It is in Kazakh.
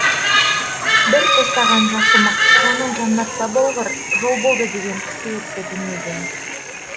бір тостаған жасымық жаның жаннатта болғыр жолболды деген кісі өтті дүниеден